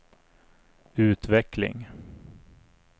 utveckling